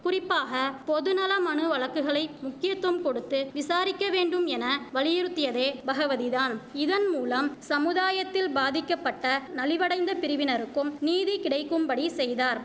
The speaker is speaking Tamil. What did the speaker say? குறிப்பாக பொது நல மனு வழக்குகளை முக்கியத்தும் கொடுத்து விசாரிக்க வேண்டும் என வலியுறுத்தியதே பகவதிதான் இதன்மூலம் சமுதாயத்தில் பாதிக்கப்பட்ட நலிவடைந்த பிரிவினருக்கும் நீதி கிடைக்கும்படி செய்தார்